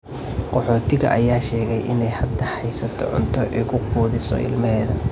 Qaxootiga ayaa sheegay inay hadda haysato cunto ay ku quudiso ilmaheeda.